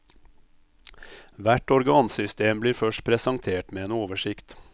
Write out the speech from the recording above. Hvert organsystem blir først presentert med en oversikt.